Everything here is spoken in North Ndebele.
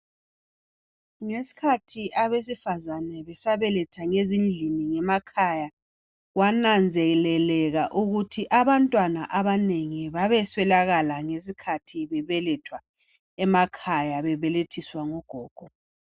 Ngesikhathi abesifazane besabeletha ngezindlini ngemakhaya kwananzelelwa ukuthi abantwana abanengi babeswelekala ngesikhathi bebelethwa bemakhaya bebelethiswa ngogogo